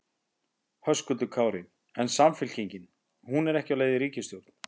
Höskuldur Kári: En Samfylkingin, hún er ekki á leið í ríkisstjórn?